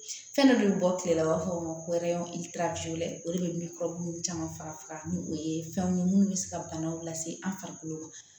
Fɛn dɔ bɛ bɔ kile la u b'a fɔ o ma ko o de bɛ caman faga ni o ye fɛnw ye minnu bɛ se ka bana lase an farikolo ma